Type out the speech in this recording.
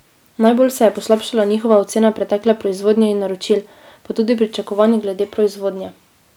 Najbolj se je poslabšala njihova ocena pretekle proizvodnje in naročil, pa tudi pričakovanj glede proizvodnje.